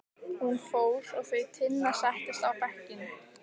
Hún fór og þau Tinna settust á bekkinn.